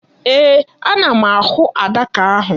Ee, ana m ahụ adaka ahụ.